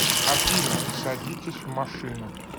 афина садитесь в машину